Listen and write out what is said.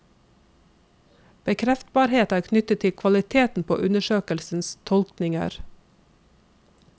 Bekreftbarhet er knyttet til kvaliteten på undersøkelsens tolkninger.